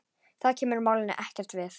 Það kemur málinu ekkert við.